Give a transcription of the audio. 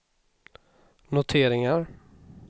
noteringar